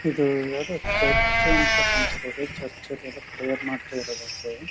ಇದು ಯಾವ್ದೋ ಚರ್ಚ್ ಅಂತ ಕಾಣುಸ್ತಾ ಇದೆ ಚರ್ಚ್ ಅಲ್ ಎಲ್ಲ ಪ್ರೇಯರ್ ಮಾಡ್ತಾ ಇರದ್ .]